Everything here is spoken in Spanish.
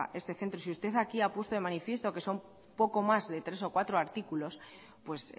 este centro y si usted aquí ha puesto de manifiesto que son poco más de tres o cuatro artículos pues